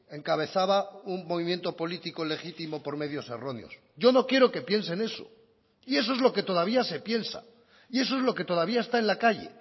encabezaba un movimiento político legítimo por medios erróneos yo no quiero que piensen eso y eso es lo que todavía se piensa y eso es lo que todavía está en la calle